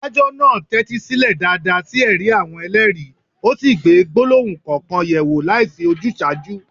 Adájọ́ náà tẹ́tí sílẹ̀ dáadáa sí ẹ̀rí àwọn ẹlẹ́rìí, ó sì gbé gbólóhùn kọ̀ọ̀kan yẹ̀ wò láìsí ojúsàájú.